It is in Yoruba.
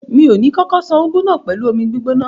Mi ò ní kókó ṣan úgú náà pẹ̀lú omi gbígbóná.